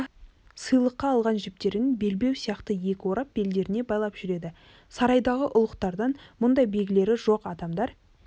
сыйлыққа алған жіптерін белбеу сияқты екі орап белдеріне байлап жүреді сарайдағы ұлықтардан мұндай белгілері жоқ адамдар